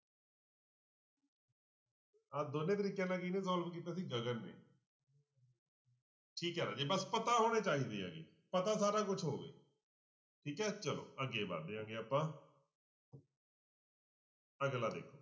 ਆਹ ਦੋਨੇਂ ਤਰੀਕਿਆਂ ਨਾਲ ਕਿਹਨੇ solve ਕੀਤਾ ਸੀ ਗਗਨ ਨੇ ਠੀਕ ਹੈ ਰਾਜੇ ਬਸ ਪਤਾ ਹੋਣੇ ਚਾਹੀਦੇ ਹੈਗੇ ਪਤਾ ਸਾਰਾ ਕੁਛ ਹੋਵੇ ਠੀਕ ਹੈ ਚਲੋ ਅੱਗੇ ਵੱਧਦੇ ਹੈਗੇ ਆਪਾਂ ਅਗਲਾ ਦੇਖੋ।